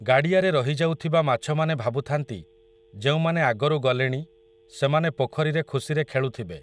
ଗାଡ଼ିଆରେ ରହିଯାଉଥିବା ମାଛମାନେ ଭାବୁଥାନ୍ତି, ଯେଉଁମାନେ ଆଗରୁ ଗଲେଣି, ସେମାନେ ପୋଖରୀରେ ଖୁସିରେ ଖେଳୁଥିବେ ।